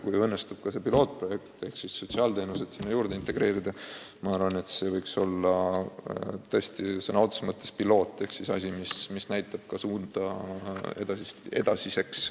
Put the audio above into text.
Kui õnnestub ka sotsiaalteenused sinna juurde integreerida, siis see võiks olla tõesti sõna otseses mõttes piloot ehk siis asi, mis näitab kõigile suunda edasiseks.